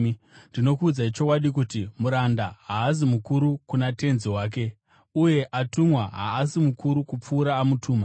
Ndinokuudzai chokwadi kuti, muranda haasi mukuru kuna tenzi wake, uye atumwa haasi mukuru kupfuura amutuma.